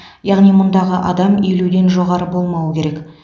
яғни мұндағы адам елуден жоғары болмауы керек